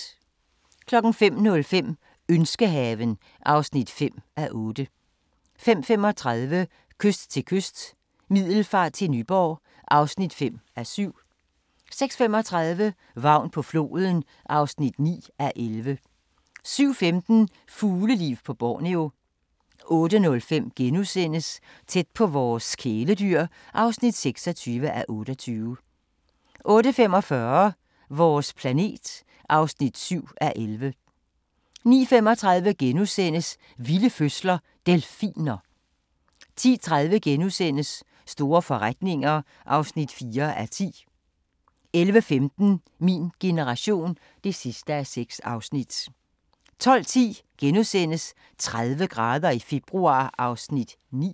05:05: Ønskehaven (5:8) 05:35: Kyst til kyst – Middelfart til Nyborg (5:7) 06:35: Vagn på floden (9:11) 07:15: Fugleliv på Borneo 08:05: Tæt på vores kæledyr (26:28)* 08:45: Vores planet (7:11) 09:35: Vilde fødsler – Delfiner * 10:30: Store forretninger (4:10)* 11:15: Min generation (6:6) 12:10: 30 grader i februar (9:10)*